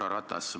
Härra Ratas!